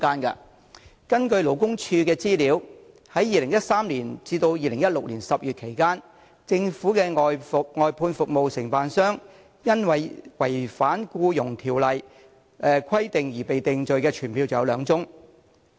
根據勞工處的資料，在2013年至2016年10月期間，政府的外判服務承辦商因違反《僱傭條例》的規定而被定罪的傳票有兩宗。